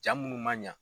Jaa munnu man ɲa